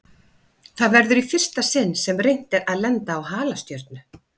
Það verður í fyrsta sinn sem reynt er að lenda á halastjörnu.